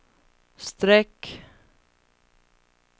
streck